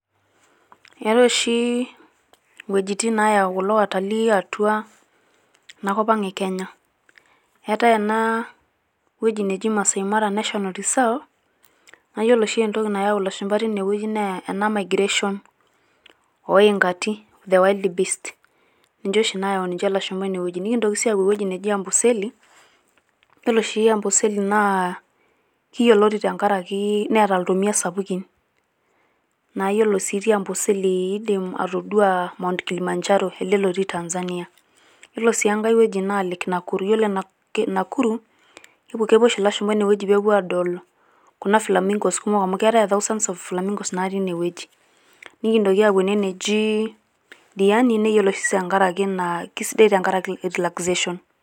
Etaae oshi wuejitin nayau watalii atua ena kop ang e Kenya .eetae ene wueji neji Maasai mara national reserve naa iyiolo oshi entoki nayau ilashumba ine wueji naa ena migration oo ingati the wild beast ninche oshi nayau niche ilashumba ine wueji. nikintoki sii apuo ewueji Amboseli ,yilolo oshi Amboseli naa kiyioloti tenkaraki neeta iltomia sapukin .naa iyiolo sii itii Amboseli naa indim atoduaa Mount Kilimanjaro ele lotii Tanzania .ytiolo sii enkae wueji naa Lake Nakuru, yiolo lake Nakuru kepuo oshi ilashumba ine wueji pepuo adol kuna flamingoes kumok amu keetae a thousands of flamingoes natii ine wueji .nikintoki apuo ene wueji neji Diani neyioloi sii tenkaraki si kisidai tenkaraki relaxation.